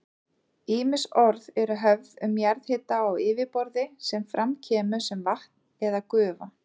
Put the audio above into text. Ýmis orð eru höfð um jarðhita á yfirborði sem fram kemur sem vatn eða gufa.